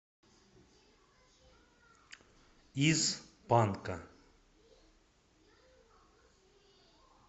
из панка